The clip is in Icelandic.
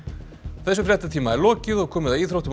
þessum fréttatíma er lokið og komið að íþróttum og